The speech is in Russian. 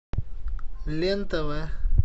лен тв